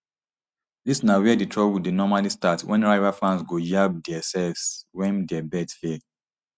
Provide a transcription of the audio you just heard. dis na wia di trouble dey normally start wen rival fans go yab diaselves wen dia bets fail